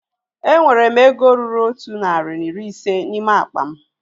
Enwere m ego ruru otụ narị na iri ise n'ime akpa m